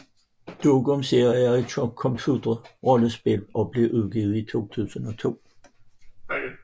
Dungeon Siege er et computerrollespil og blev udgivet i 2002